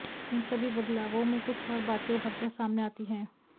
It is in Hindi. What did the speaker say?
इन सभी बदलावों में कुछ और बातें उभरकर सामने आती हैं